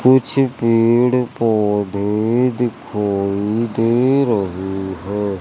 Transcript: कुछ पेड़ पौधे दिखाई दे रही है।